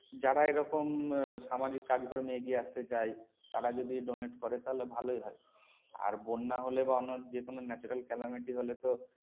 যারা এরকম আহ সামাজিক কাজকর্মে এগিয়ে আসতে চায় তারা যদি donate করে তাহলে ভালোই হয়। আর বন্যা হলে বা অন্য যে কোনো natural calamity হলে তো